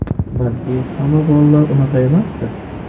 Balki hamma bolalar unaqa emasdir.